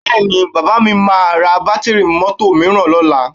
Bẹ́ẹ̀ni, bàbá mi máa ra bátíìrì mọ́tò mìíràn lọ́la